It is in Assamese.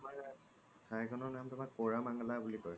থাই খিনিৰ নাম তুমাত কৰমনংলা বুলি কই